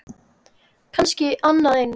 Kannski annað eins.